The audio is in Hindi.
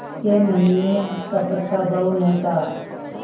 के मन में कपट का भाव न था